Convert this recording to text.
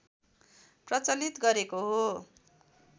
प्रचलित गरेको हो